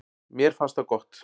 Mér fannst það gott.